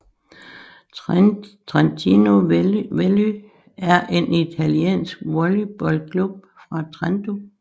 Trentino Volley er en italiensk volleybalklub fra Trento